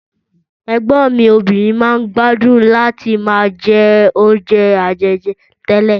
Ẹ̀gbọ́n mi obìnrin máa ń gbádùn láti máa jẹ́ oúnjé àjèjì télè.